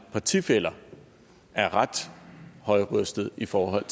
partifæller er ret højrøstede i forhold